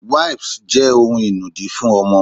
Wipes jẹ́ ohun inùdí fún ọmọ.